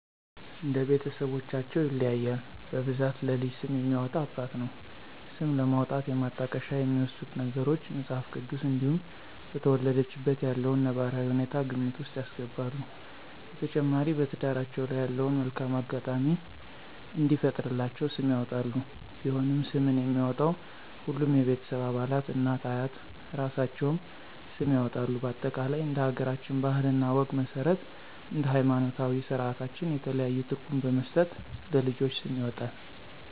እንደ ቤተስቦቻቸው ይለያያል በብዛት ለልጅ ስም የሚያወጣ አባት ነው። ስም ለማውጣት የማጣቀሻ የሚወስዱት ነገሮች:- መጽሐፍ ቅዱስ እንዲሁም በተወለደችበት ያለውን ነባራዊ ሁኔታ ግምት ውስጥ ያስገባሉ። በተጨማሪ በትዳራቸው ላይ ያለውን መልካም አጋጣሚ እንዲፈጥርላቸው ስም ያወጣሉ። ቢሆንም ስምን የሚያወጣው ሁሉም የቤተሰብ አባላት እናት፤ አያት እራሳቸውም ስም ያወጣሉ በአጠቃላይ እንደ ሀገራችን ባህል እና ወግ መስረት እንደ ሀይማኖታዊ ስራታችን የተለያዩ ትርጉም በመስጠት ለልጆች ስም ይወጣል